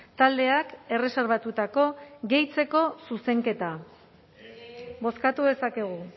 taldeak erreserbatutako gehitzeko zuzenketa bozkatu dezakegu